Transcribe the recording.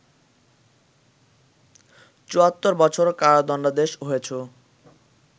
৭৪ বছর কারাদণ্ডাদেশ হয়েছ